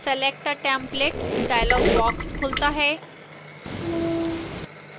select a template dialog box खुलता है